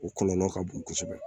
O kɔlɔlɔ ka bon kosɛbɛ